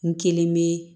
N kelen be